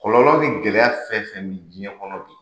Kɔlɔlɔ ni gɛlɛya fɛn fɛn bɛ diɲɛ kɔnɔ b'i,